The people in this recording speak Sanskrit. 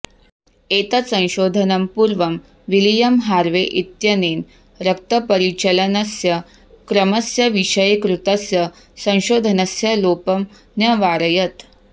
एतत् संशोधनं पूर्वं विलियं हार्वे इत्यनेन रक्तपरिचलनस्य क्रमस्य विषये कृतस्य संशोधनस्य लोपं न्यवारयत्